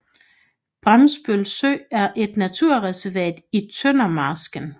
Bremsbøl Sø er et naturreservat i Tøndermarsken